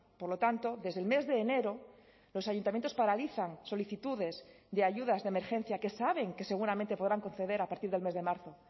por lo tanto desde el mes de enero los ayuntamientos paralizan solicitudes de ayudas de emergencia que saben que seguramente podrán conceder a partir del mes de marzo